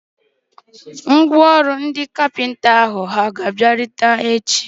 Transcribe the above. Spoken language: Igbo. Ngwá ọrụ ndị ọkwá nkà hà ga-abịarute echi?